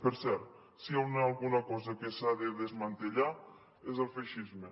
per cert si hi ha alguna cosa que s’ha de desmantellar és el feixisme